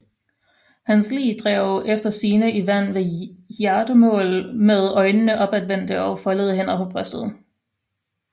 Hans lig drev efter sigende i land ved Hjartemål med øjnene opadvendte og foldede hænder på brystet